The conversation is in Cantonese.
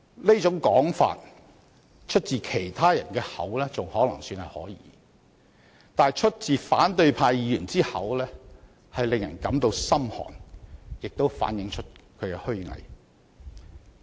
這種說法出自其他人的口還可說得過去，但出自反對派議員之口卻令人感到心寒，亦反映出他們的虛偽。